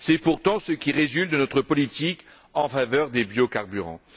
C'est pourtant ce qui résulte de notre politique en faveur des biocarburants.